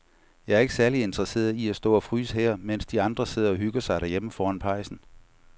Jeg er ikke særlig interesseret i at stå og fryse her, mens de andre sidder og hygger sig derhjemme foran pejsen.